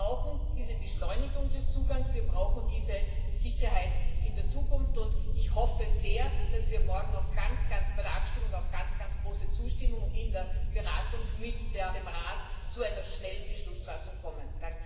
Wir brauchen diese Beschleunigung des Zugangs, wir brauchen diese Sicherheit in der Zukunft, und ich hoffe sehr, dass wir morgen bei der Abstimmung auf ganz, ganz große Zustimmung stoßen und in der Beratung mit dem Rat zu einer schnellen Beschlussfassung kommen.